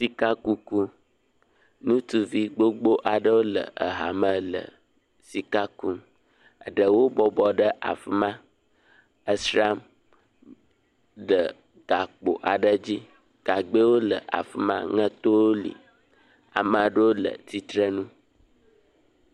Sika kuku, ŋutsuvi gbogbo aɖewo le aha me le sika kum, ɖeɖwo bɔbɔ ɖe afiam esram le gakpo aɖe dzi, gagbe wole afima, aŋɛtowo li. Ame aɖewo le tsitre nu.